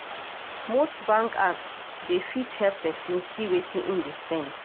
Most bank apps dey fit help person see wetin im dey spend